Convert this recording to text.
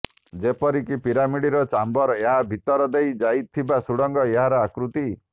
ଯେପରିକି ପିରାମିଡର ଚାମ୍ବର ଏହାର ଭିତର ଦେଇ ଯାଇଥିବା ସୁଡଙ୍ଗ ଏହାର ଆକୃତି